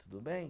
Tudo bem?